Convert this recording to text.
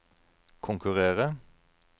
konkurrere